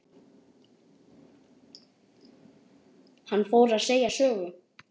Hann fór að segja sögu.